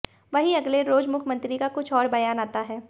वहीं अगले रोज मुख्यमंत्री का कुछ और बयान आता है